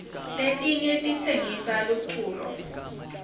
letinyg titsenyisa luculo